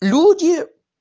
люди